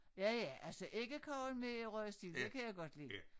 Ja ja altså æggekage med røget sild det kan jeg godt lide